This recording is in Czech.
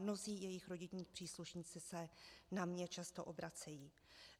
Mnozí jejich rodinní příslušníci se na mě často obracejí.